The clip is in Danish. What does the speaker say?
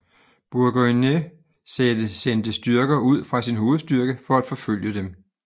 Burgoyne sendte styrker ud fra sin hovedstyrke for at forfølge dem